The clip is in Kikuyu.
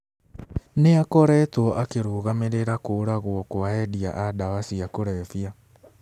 Nĩ akoretwo akĩrũgamĩrĩra kũũragwo kwa endia a ndawa cia kũrebia.